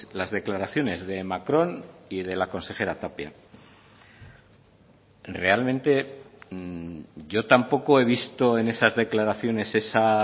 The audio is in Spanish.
las declaraciones de macron y de la consejera tapia realmente yo tampoco he visto en esas declaraciones esa